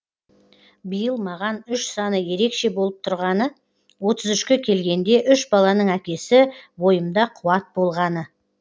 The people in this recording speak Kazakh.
биыл маған үш саны ерекше болып тұрғаны отыз үшке келгенде үш баланың әкесі бойымда қуат болғаны